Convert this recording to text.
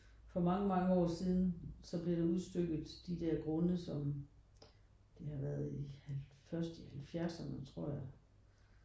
For mange mange år siden så blev der udstykket de der grunde som det har været i først i halvfjerdserne tror jeg